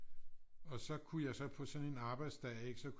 Og så kunne jeg så på sådan en arbejdsdag ikke så